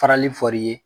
Farali fɔri ye